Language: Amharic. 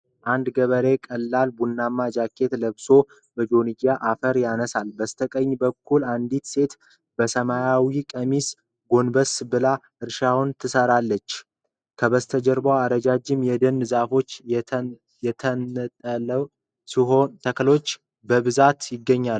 አንድ ገበሬ ቀላል ቡናማ ጃኬት ለብሶ በጆንያ አፈር ያነሳል፡፡ በስተቀኝ በኩል አንዲት ሴት በሰማያዊ ቀሚስ ጎንበስ ብላ እርሻውን ትሰራለች፡፡ ከበስተጀርባው ረጃጅም የደን ዛፎችና የተነጠሉ ተክሎች በብዛት ይገኛሉ፡፡